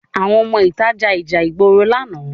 Àwọn ọmọ ìta ja ìjà ìgboro lánàá